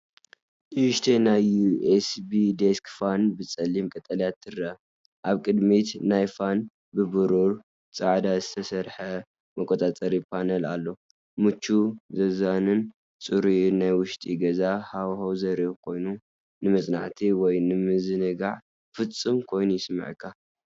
ንእሽተይ ናይ ዩኤስቢ ዴስክ ፋን ብጸሊም ቀጠልያ ትርአ። ኣብ ቅድሚት ናይቲ ፋን ብብሩርን ጻዕዳን ዝተሰርሐ መቆጻጸሪ ፓነል ኣሎ። ምቹእ፡ ዘዛንን ጽሩይን ናይ ውሽጢ ገዛ ሃዋህው ዘርኢ ኮይኑ፡ ንመጽናዕቲ ወይ ንምዝንጋዕ ፍጹም ኮይኑ ይስምዓካ፡፡